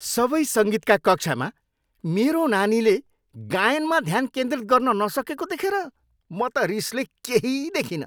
सबै सङ्गीतका कक्षामा मेरो नानीले गायनमा ध्यान केन्द्रित गर्न नसकेको देखेर म त रिसले केही दखिनँ।